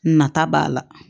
Nata b'a la